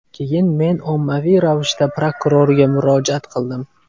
Keyin men ommaviy ravishda prokurorga murojaat qildim.